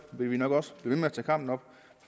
vil vi nok også ved med at tage kampen op